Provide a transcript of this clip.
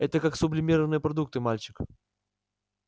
это как сублимированные продукты мальчик